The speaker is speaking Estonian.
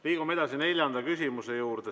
Liigume edasi neljanda küsimuse juurde.